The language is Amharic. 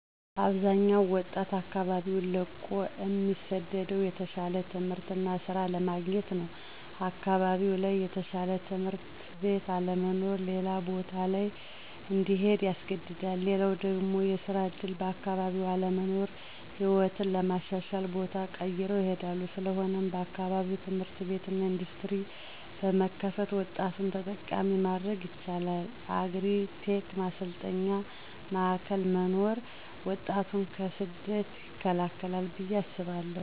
አብዛኛው ወጣት አካባቢውን ለቆ እሚሰደደው የተሻለ ትምህርት እና ሥራ ለማግኘት ነው። አካባቢው ላይ የተሻለ ትምህርት ቤት አለመኖር ሌላ ቦታ ላይ እንዲሄዱ ያስገድዳል። ሌላው ደግሞ የስራ ዕድል በአካባቢው አለመኖር ሕይወትን ለማሻሻል ቦታ ቀይረው ይሄዳሉ። ስለሆነም በአካባቢው ትምህርት ቤት እና ኢንዱስትሪ በመክፈት ወጣቱን ተጠቃሚ ማድረግ ይቻላል። የአግሪ-ቴክ ማሰልጠኛ ማዕከላት መኖርም ወጣቱን ከስደት ይከላከላል ብዬ አስባለሁ።